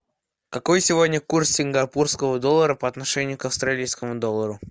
какой сегодня курс сингапурского доллара по отношению к австралийскому доллару